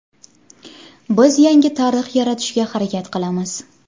Biz yangi tarix yaratishga harakat qilamiz.